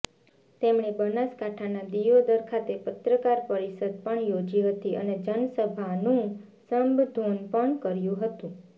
તેમણે બનાસકાંઠાના દિયોદર ખાતે પત્રકાર પરિષદ પણ યોજી હતી અને જનસભાનું સંબધોન પણ કર્યું હતું